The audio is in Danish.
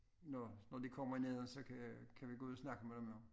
Når når de kommer ned og så kan kan vi gå ud og snakke med dem jo